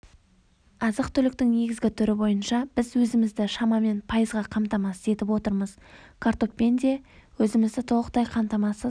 азық-түліктің негізгі түрі бойынша біз өзімізді шамамен пайызға қамтамасыз етіп отырмыз картоппен де өзімізді толықтай қамтамасыз